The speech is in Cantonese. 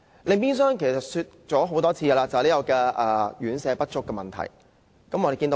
另外就是已多次提及的院舍不足問題。